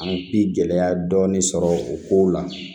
An bi gɛlɛya dɔɔnin sɔrɔ o kow la